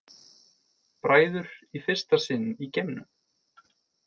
Bræður í fyrsta sinn í geimnum